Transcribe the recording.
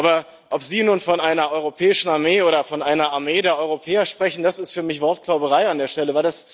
Aber ob Sie nun von einer europäischen Armee oder von einer Armee der Europäer sprechen, das ist für mich Wortklauberei an der Stelle.